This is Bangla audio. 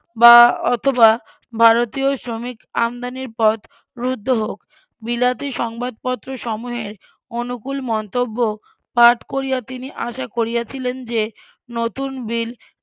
বা অথবা ভারতীয় শ্রমিক আমদানির পথ রুদ্ধ হোক বিলাতি সংবাদপত্র সমূহে অনুকুল মন্তব্য পাঠ করিয়া তিনি আশা করিয়াছিলেন যে নতুন বিল